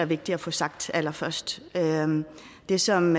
vigtigt at få sagt allerførst det som